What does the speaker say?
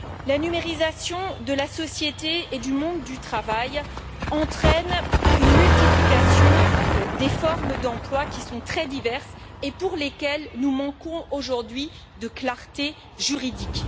La numérisation de la société et du monde du travail entraîne une multiplication des formes d'emploi qui sont très diverses et pour lesquelles nous manquons aujourd'hui de clarté juridique.